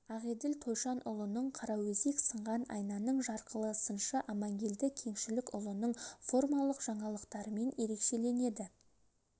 ақелділ тойшанұлының қараөзек сынған айнаның жарқылы сыншы амангелді кеңшілікұлының формалық жаңалықтарымен ерекшеленеді